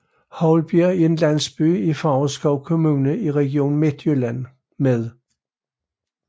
Houlbjerg er en landsby i Favrskov Kommune i Region Midtjylland med